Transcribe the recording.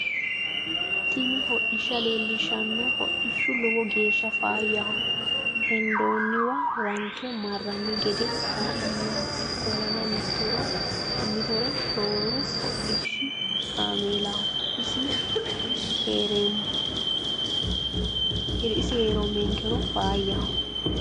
tini hodhishsha lellishshanno hodhishu lowo geeshsha faayyaho hendoonniwa ranke marranni gede kaa'lannoho ikkollana motore rooru hodhishshi kaameelaho isi heerommenkero faayyaho